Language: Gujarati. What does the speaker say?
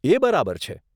એ બરાબર છે.